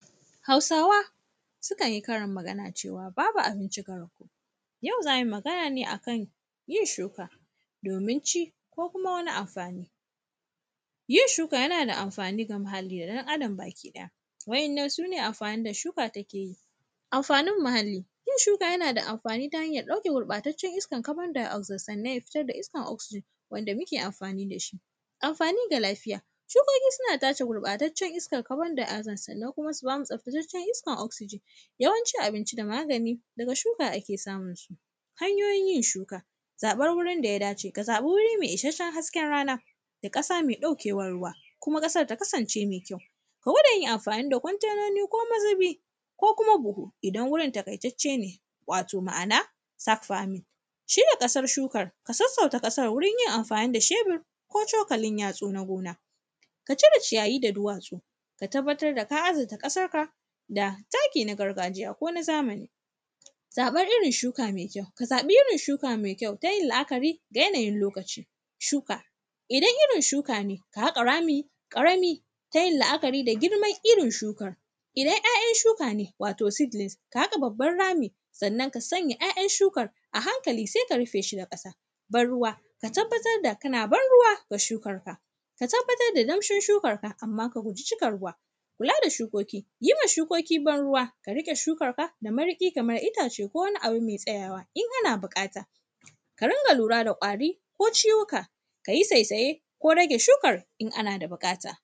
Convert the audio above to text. Hausawa, sukan yi karin magana cewa, “babu abinci ga rago”. Yau, za mi magana ne a kan yin shuka, domin ci ko kuma wani amfani. Yin shuka, yana da mafani ga muhalli da ɗan Adam bakiɗaya, wa’yannan, su ne amfanin da shuka take yi. Amfanin muhalli, yin shuka yana da hanyar ɗauke gurƃataccen iskar “carbondioxosonate” fitar da iskar “oxsegen” wanda muke amfani da shi. Amfani ga lafiya, shukoki suna tace gurƃataccen iskar “carbondioxosonate”, sannan kuma, su ba mu tsaftacciyar iskar “oxsegen”. Yawancin abinci da magani, daga shuka ake samun su. Hanyoyin yin shuka, zaƃar wurin da ya dace, ka zaƃi wuri me isasshen hasken rana da ƙasa me ɗaukewar runa, kuma ƙasar ta kasance me kyau. Ka gwada yin amfani da kwantenoni ko mazibi ko kuma buhu, idan wurin taƙaitacce ne, wato ma’ana “sack farming”. Shirya ƙasar shukar, ka sassauta ƙasar wurin yin amfani da shebir ko cokalin yatsu na gona. Ka cire ciyayi da duwatsu, ka tabbatar da ka azurta ƙasarka da taki na gargajiya ko na zamani. Zaƃar irin shuka me kyau, ka zaƃi irin shuka me kyau, ta yin la’akari da yanayin lokaci. Shuka, idan irin shuka ne, ka haƙa rami ƙarami ta yin la’akari da girman irin shukan, idan ‘ya’yan shuka ne, wato “seedlinds”, ka haƙa babban rami, sannan, ka sanya ‘ya’yan shukar a hankali, se ka rife shi da ƙasa. Bar-ruwa, ka tabbatar da kana bar-ruwa wa shukarka. Ka tabbatar da damshin shukarka, amma ka guji cika ruwa. Kula da shukoki, yi wa shukoki bar-ruwa, ka riƙe shukarka da mariƙi kamar itace ko wani abu me tsayawa in ana biƙata. Ka ringa lura da ƙwari ko ciwuka, ka yi saisaye ko rage shukar, in ana da biƙata.